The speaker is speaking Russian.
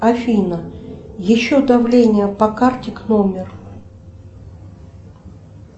афина еще давление по карте к номеру